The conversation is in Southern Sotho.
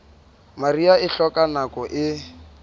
mariha e hloka nako e